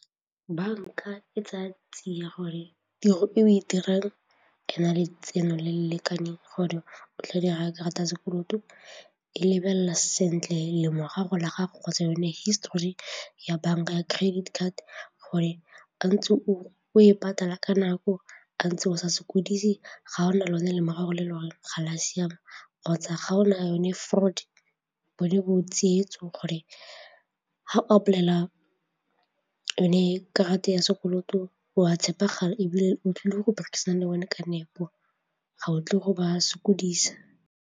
Bank a e tsaya tsia gore tiro e o e dirang ana letseno le le lekaneng gore o tla dira karata ya sekoloto, e lebelela sentle lemorago la gago kgotsa yone histori ya banka ya credit card gore a ntse o e patala ka nako, a ntse o sa sokodise ga ona lone lemorago le e le gore ga le a siama kgotsa ga o na a yone fraud bone bo tsietso gore ga o apply-ela yone karata ya sekoloto wa tshepagale ebile o tlile go berekisana le bone ka nepo ga o tlile go ba sokodisa.